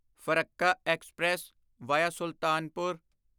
Farakka express via Sultanpur